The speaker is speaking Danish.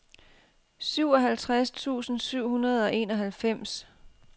syvoghalvtreds tusind syv hundrede og enoghalvfems